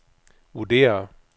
vurderer